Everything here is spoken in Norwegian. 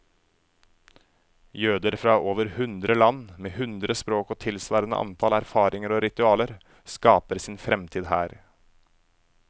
Jøder fra over hundre land, med hundre språk og tilsvarende antall erfaringer og ritualer, skaper sin fremtid her.